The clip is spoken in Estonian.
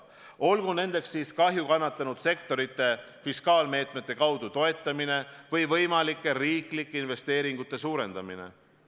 Olgu nendeks siis kahju kannatanud sektorite fiskaalmeetmete abil toetamine või võimalike riiklike investeeringute suurendamine.